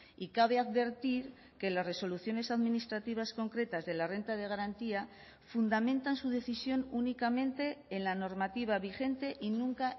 y cabe advertir que las resoluciones administrativas concretas de la renta de garantía fundamentan su decisión únicamente en la normativa vigente y nunca